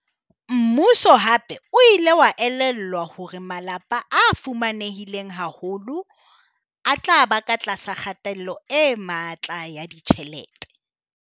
Mmuso hape o ile wa elellwa hore malapa a fuma nehileng haholo a tla ba ka tlasa kgatello e matla ya ditjhelete.